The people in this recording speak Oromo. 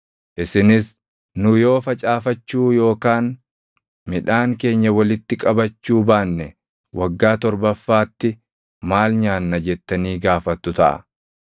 Isinis, “Nu yoo facaafachuu yookaan midhaan keenya walitti qabachuu baanne waggaa torbaffaatti maal nyaanna?” jettanii gaafattu taʼa.